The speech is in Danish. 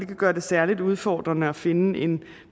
det gør det særlig udfordrende at finde en